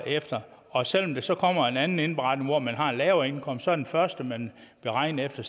efter og selv om der så kommer en anden indberetning hvor man har en lavere indkomst er den første man beregner efter